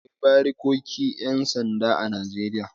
Akwai barikokin 'yan sanda a Najeriya.